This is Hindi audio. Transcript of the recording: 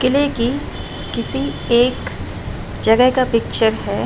किले की किसी एक जगह का पिक्चर है।